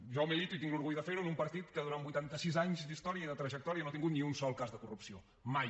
jo milito i tinc l’orgull de fer ho en un partit que durant vuitanta sis anys d’història i de trajectòria no ha tingut ni un sol cas de corrupció mai